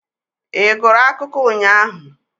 Ị gụrụ akụkọ ụnyahụ?